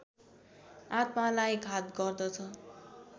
आत्मालाई घात गर्दछ